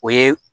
O ye